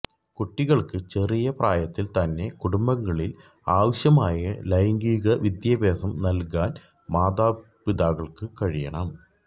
കുട്ടികള്ക്ക് ചെറിയ പ്രായത്തില് തന്നെ കുടുംബങ്ങളില് ആവശ്യമായ ലൈംഗിക വിദ്യാഭ്യാസം നല്കാന് മാതാക്കള്ക്ക് കഴിയണം